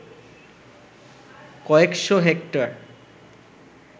কয়েকশ’ হেক্টর